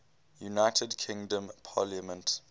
united kingdom parliament